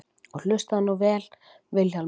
Og hlustaðu nú vel Vilhjálmur.